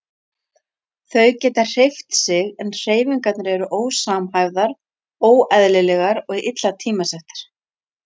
Þau geta hreyft sig en hreyfingarnar eru ósamhæfðar, óeðlilegar og illa tímasettar.